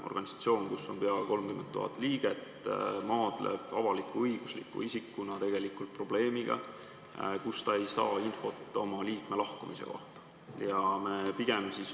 Organisatsioon, kus on peaaegu 30 000 liiget, maadleb avalik-õigusliku isikuna probleemiga, et ta ei saa infot oma liikme lahkumise kohta.